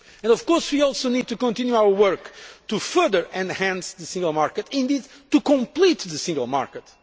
Of course, we also need to continue our work to further enhance the single market, and indeed to complete the single market.